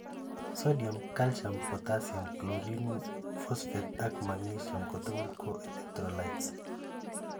sodium, calcium, potassium, chlorine, phosphate ak magnesium kotugul ko electrolytes